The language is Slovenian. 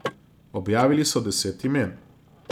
Objavili so deset imen.